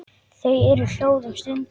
Þau eru hljóð um stund.